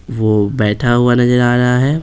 वो बैठा हुआ नजर आ रहा है।